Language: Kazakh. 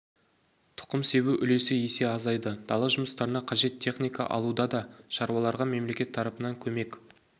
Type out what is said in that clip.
тұқым себу үлесі есе азайды дала жұмыстарына қажет техника алуда да шаруаларға мемлекет тарапынан көмек